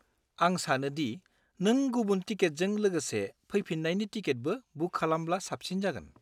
आं सानो दि नों गुबुन टिकेटजों लोगोसे फैफिन्नायनि टिकेटबो बुक खालामब्ला साबसिन जागोन।